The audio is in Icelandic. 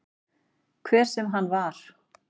Hver sem hann var.